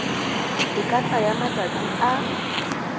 e ka tsaya matsatsi a